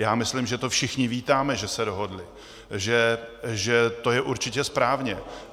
Já myslím, že to všichni vítáme, že se dohodli, že to je určitě správně.